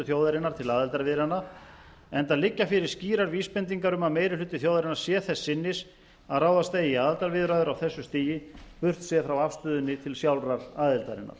þjóðarinnar til aðildarviðræðna enda liggja fyrir skýrar vísbendingar um að meiri hluti þjóðarinnar sé þess sinnis að ráðast eigi í aðildarviðræður á þessu stigi burtséð frá afstöðunni til sjálfrar aðildarinnar